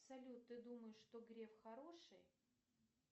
салют ты думаешь что греф хороший